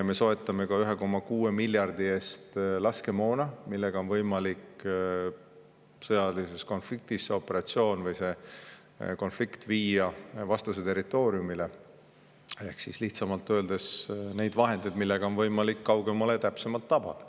Me soetame ka 1,6 miljardi eest laskemoona, mille abil on võimalik sõjalises konfliktis see operatsioon või konflikt viia vastase territooriumile, ehk lihtsamalt öeldes, neid vahendeid, millega on võimalik kaugemale ja täpsemalt tabada.